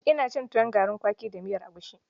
Ina cin tuwon garin kwaki da miyar egushi.